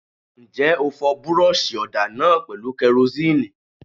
Ǹjẹ́ o fọ búrọ́ṣì ọ̀dà náà pẹ̀lú kẹrosínìì?